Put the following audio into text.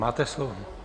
Máte slovo.